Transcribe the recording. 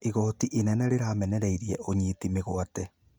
Igooti inene rĩramenereirie ũnyiti mĩgwate